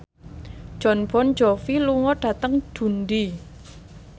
Jon Bon Jovi lunga dhateng Dundee